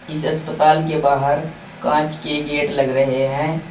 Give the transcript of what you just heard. इस अस्पताल के बाहर कांच के गेट लग रहे हैं।